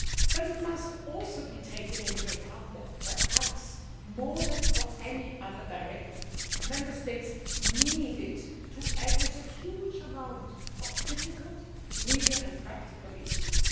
But it must also be taken into account that, perhaps more than for any other directive, Member States needed to address a huge amount of difficult legal and practical issues.